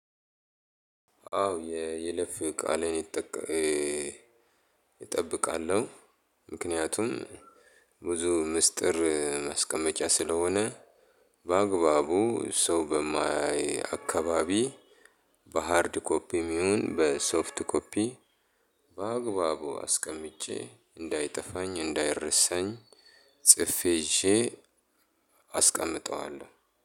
አዎ የይለፍ ቃሌ አጠብቃለሁ ምክንያቱም ብዙ ምስጢር ማስቀመጫ ስለሆነ በአግባቡ ሰው በማያይ አካባቢ በሃርድ ኮፒም ይሁን በሶፍት ኮፒ በአግባቡ አስቀምጨ እንዳይጠፋኝ እንዳይረሳኝ ጽፌ ይጀ አስቀምጠዋለሁ።